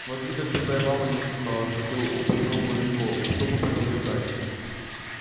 смотри как бы твоя мама не услыхала что ты упомянул мою школу сухо проговорил гарри